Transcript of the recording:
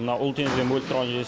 мына ұлы теңізден бөліп тұрған жер